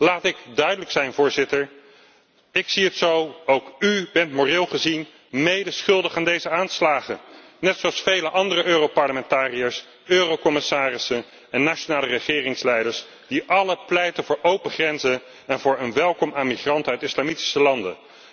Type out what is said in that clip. Laat ik duidelijk zijn, Voorzitter, ik zie het zo ook u bent moreel gezien medeschuldig aan deze aanslagen, net zoals vele andere Europarlementariërs, Eurocommissarissen en nationale regeringsleiders die allen pleiten voor open grenzen en voor een welkom aan migranten uit islamitische landen.